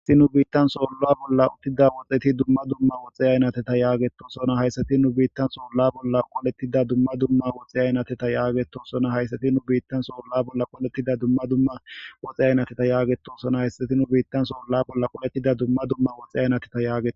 Issi nu biittan soolla bolla uttida woxeti dumma dumma woxxiyaynateta yaagetosona hayssati nu biittan soolla bolla qolettida dumma dumma woxiyaynateta yaageto sona hayssati nu biittan soolla bolla qoletida dumma dumma woxe aynateta yaageto sona hayssati nu biittan soolla bolla qolettida dumma dumma woxe aynateta yaageta.